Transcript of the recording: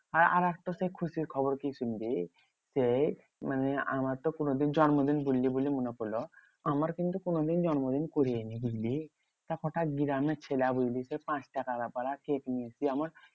হ্যাঁ আর আরেকটা সেই খুশির খবর কি শুনবি? সেই মানে আমার তো কোনোদিন জন্মদিন করিনি বলে মনে পড়লো। আমার কিন্তু কোনোদিন জন্মদিন করিই নি বুঝলি? তা কটা গ্রামের ছেলে বুঝলি সেই পাঁচটাকা পারা কেক নিয়ে কি আমার